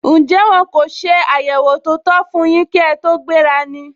Njẹ́ wọ́n kò se àyẹwò tó tó fún yín kí ẹ tó gbéra ni?